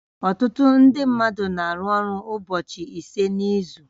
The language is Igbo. Ọtụtụ ndị mmadụ na-arụ ọrụ ụbọchị ise n'izu